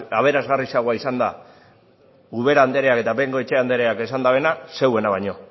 aberasgarriagoa izan da ubera andereak eta bengoechea andereak esan dutena zeuena baino